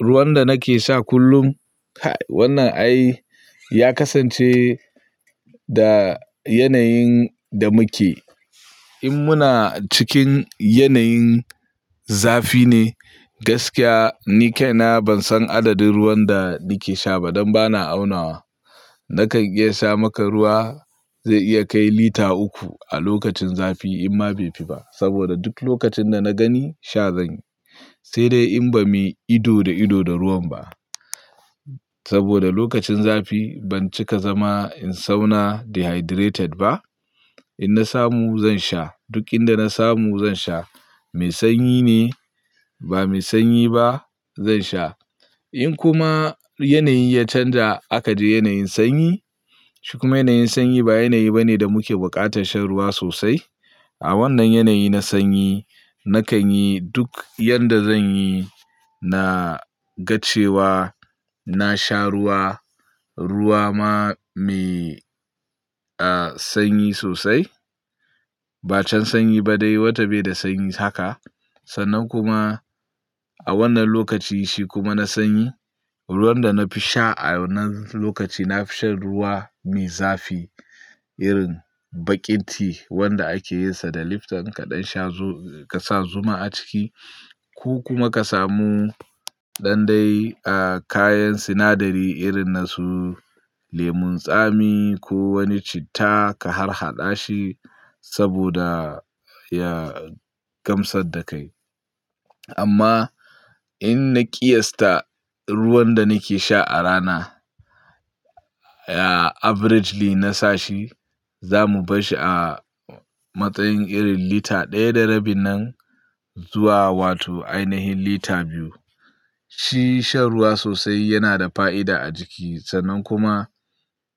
Ruwan da nake sha kullum, wannan ai ya kasance da yanayin da muke. In muna cikin yanayin zafi ne, gaskiya ni kaina ban san adadin ruwan da nake sha ba dan ba na aunawa. Nakan iya sha maka ruwa zai iya kai lita uku a lokacin zafi in ma bai fi ba. Saboda duk lokacin da na gani sha zan yi. Sai dai in ba mai ido da ido da ruwan ba. Zai iya kai lita uku a lokacin zafi in ma bai fi ba. In na samu zan sha, duk inda na samu zan sha. Mai sanyi ne ba mai sanyi ba zan sha. In kuma yanayi ya canja aka je yanayin sanyi, shi kuma yanayin sanyi ba yanayi bane da muke buƙatar shan ruwa sosai. A wannan yanayi na sanyi nakan yi duk yadda zan yi, na ga cewa na sha ruwa, ruwa ma mai sanyi sosai. Ba can sanyi ba dai wacce bai da sanyi haka. Sannan kuma a wannan lokaci shi kuma na sanyi, ruwan da na fi sha a wannan lokaci na fi shan ruwa mai zafi irin baƙin ti wanda ake yinsa da lifton kaɗan sha ka sa zuma a ciki. Ku kuma ka samu dandai a kayan sinadari irin na su lemon tsami ko wani citta ka harhaɗa shi saboda ya gamsar da kai. Amma in na ƙiyasta ruwan da nake sha a rana, ya averagely na sa shi, zamu bashi a matsayin irin lita ɗaya da rabi nan zuwa wato ainahin lita biyu. Shi shan ruwa sosai yana da fa'ida a jiki sannan kuma